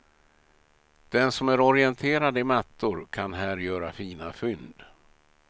Den som är orienterad i mattor, kan här göra fina fynd.